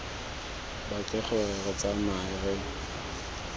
batle gore re tsamae re